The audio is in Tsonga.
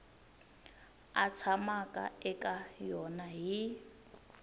a tshamaka eka yona hi